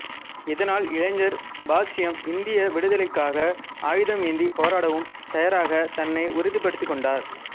இதனால் இளைஞர் பாஷ்யம் இந்திய விடுதலைக்காக ஆயுதம் ஏந்திப் போராடவும் தயாராகத் தன்னை உறுதிப்படுத்திக்கொண்டார்